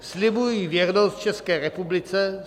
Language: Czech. "Slibuji věrnost České republice.